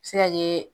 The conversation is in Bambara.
A bɛ se ka kɛ